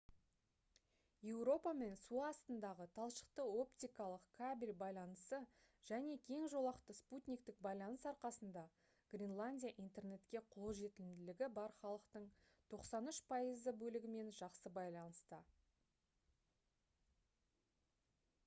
еуропамен су астындағы талшықты-оптикалық кабель байланысы және кең жолақты спутниктік байланыс арқасында гренландия интернетке қолжетімділігі бар халықтың 93% бөлігімен жақсы байланыста